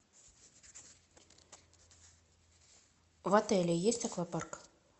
в отеле есть аквапарк